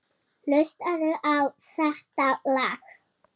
Hlustaðu á þetta lag.